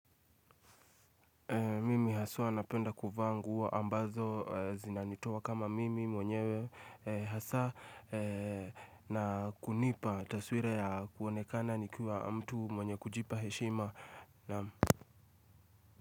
Mimi haswa napenda kuvaa nguo ambazo zinanitoa kama mimi mwenyewe hasa na kunipa taswira ya kuonekana nikiwa mtu mwenye kujipa heshima.